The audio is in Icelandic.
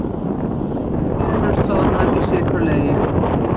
Perur soðnar í sykurlegi